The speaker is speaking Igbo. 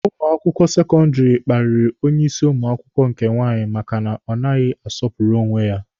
Ụmụ akwụkwọ sekọndịrị kparịrị onye isi ụmụ akwụkwọ nke nwaanyị maka na ọ naghị asọpụrụ onwe ya